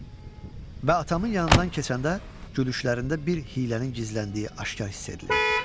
Və atamın yanından keçəndə gülüşlərində bir hiylənin gizləndiyi aşkar hiss edilirdi.